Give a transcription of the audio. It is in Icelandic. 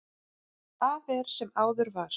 Af er sem áður var.